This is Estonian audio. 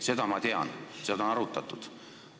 Seda ma tean, seda on arutatud.